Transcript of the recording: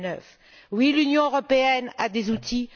2009. Oui, l'Union européenne a des outils.